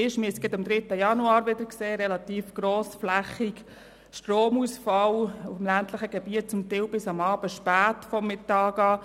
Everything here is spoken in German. Das haben wir gerade am 3. Januar wieder gesehen, als es im ländlichen Gebiet relativ grossflächig zu Stromausfällen kam, teils vom Mittag bis zum späten Abend.